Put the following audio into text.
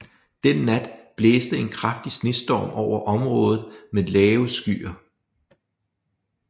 Den nat blæste en kraftig snestorm over området med lave skyer